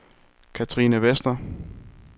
Cathrine Vester